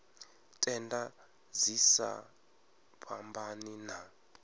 tenda dzi sa fhambani na